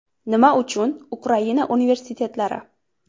Nima uchun Ukraina universitetlari?